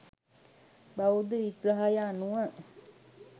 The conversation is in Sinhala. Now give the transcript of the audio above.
බෞද්ධ විග්‍රහය අනුව